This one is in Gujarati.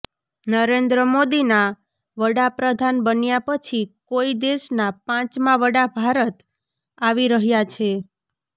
નરેન્દ્ર મોદીના વડાપ્રધાન બન્યા પછી કોઈ દેશના પાંચમા વડા ભારત આવી રહ્યા છે